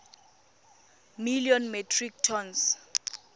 million metric tons